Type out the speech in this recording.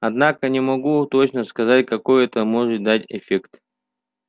однако не могу точно сказать какой это может дать эффект